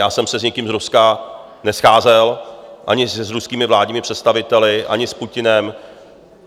Já jsem se s nikým z Ruska nescházel, ani s ruskými vládními představiteli, ani s Putinem.